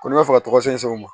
Ko n'i bɛ fɛ ka tɔgɔsɛnw bɔ